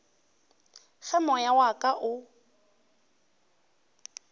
ge moya wa ka o